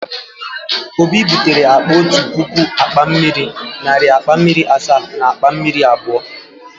Obi butere akpa otu puku akpa mmiri, narị akpa mmiri asaa na akpa mmiri iri abụọ.